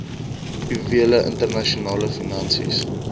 juwele internasionale finansies